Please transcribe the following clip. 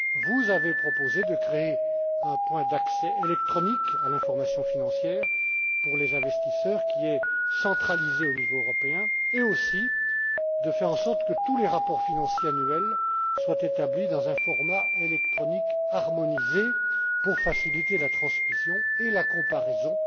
Vous avez proposé de créer un point d'accès électronique à l'information financière pour les investisseurs qui est centralisé au niveau européen, ainsi que de faire en sorte que tous les rapports financiers annuels soient établis dans un format électronique harmonisé pour faciliter la transmission et la comparaison